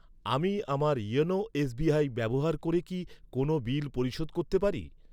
আমি আমার YONO SBI ব্যবহার করে কোন বিল পরিশোধ করতে পারি?